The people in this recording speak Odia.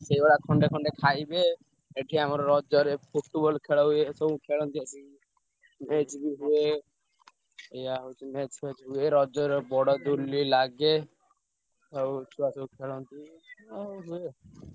ସେଇଭଳିଆ ଖଣ୍ଡେ ଖଣ୍ଡେ ଖାଇବେ ଏଠି ଆମର ରଜରେ Football ଖେଳ ହୁଏ ସବୁ ଖେଳନ୍ତି ଆସି। match ବି ହୁଏ। ଏୟା ହଉଛି match ଫ୍ଯାଚ ହୁଏ ରଜରେ ବଡ ଦୋଳି ଲାଗେ। ଆଉ ଛୁଆ ସବୁ ଖେଳନ୍ତି ଅଁ ହୁଏ।